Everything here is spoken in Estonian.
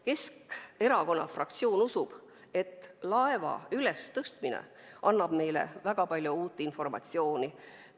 Keskerakonna fraktsioon usub, et laeva ülestõstmine annab meile väga palju uut informatsiooni.